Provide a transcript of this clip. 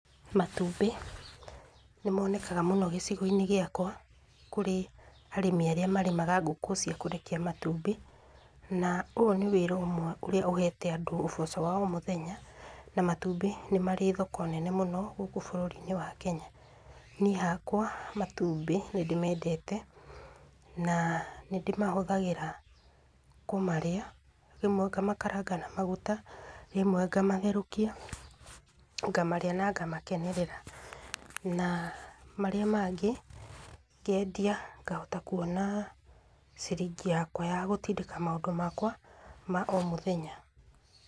Matumbĩ, nĩ monekaga mũno gĩcigo-inĩ gĩakwa, kũrĩ arĩmi arĩa marĩmaga ngũkũ cia kũrekia matumbĩ, na ũyũ nĩ wĩra ũmwe ũria ũhete andũ ũboco wa ũmũthenya. Na matumbĩ nĩ marĩ thoko nene mũno, gũkũ bũrũri-inĩ wa Kenya. Niĩ hakwa, matumbĩ nĩ ndĩmendete, na nĩ ndĩmahũthagĩra kũmarĩa. Rĩmwe ngamakaranga na maguta, rĩmwe ngamatherũkia, ngamarĩa na ngamakenerera. Na marĩa mangĩ, ngendia, ngahota kuona ciringi yakwa ya gũtindĩka maũndũ makwa, ma o mũthenya.